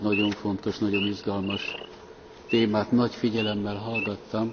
Ezt a nagyon fontos, nagyon izgalmas témát nagy figyelemmel hallgattam.